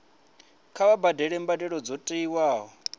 kha vha badele mbadelo dzo tiwaho